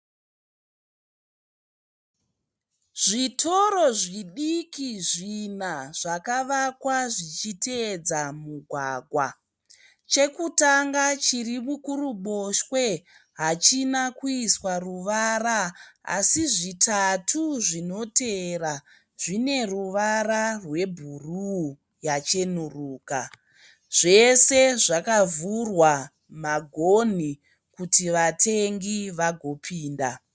Zvitoro zvidiki zvina zvakavakwa zvichiteedza mugwagwa. Chekutanga chiri kuruboshwe hachina kuiswa ruvara asi zvitatu zvinoteera zvine ruvara rwebhuruu yachenuruka. Zvese zvakavhurwa magonhi kuti vatengi vagopinda.